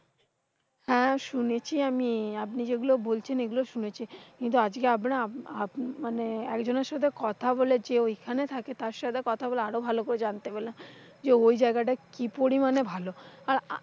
হ্যাঁ শুনেছি আমি আপনি যেগুলো বলছেন এগুলো শুনেছি। কিন্তু আজকে আব মানে একজনের সাথে কথা বলেছি ওই খানে থাকে। তার সাথে কথা বলে আরো ভালো করে জানতে পেলাম, যে ওই জায়গাটা কি পরিমানে ভালো। আর,